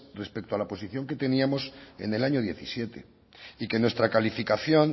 respecto a la posición que teníamos en el año diecisiete y que nuestra calificación